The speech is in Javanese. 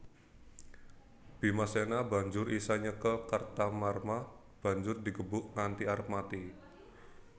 Bimasena banjur isa nyekel Kartamarma banjur digebug nganti arep mati